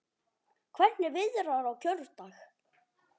Hvernig viðrar á kjördag?